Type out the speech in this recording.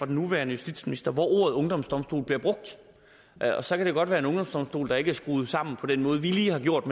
nuværende justitsminister hvor ordet ungdomsdomstol bliver brugt og så kan det godt være en ungdomsdomstol der ikke er skruet sammen på den måde vi lige har gjort